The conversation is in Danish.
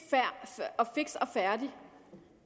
og færdig